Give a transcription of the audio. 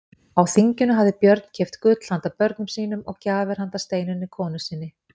Á þinginu hafði Björn keypt gull handa börnum sínum og gjafir handa Steinunni konu sinni.